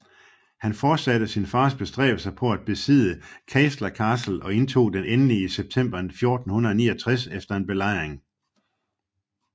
Han fortsatte sin fars bestræbelser på at besidde Caister Castle og indtog den endelig i september 1469 efter en belejring